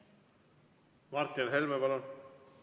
Martin Helme, palun!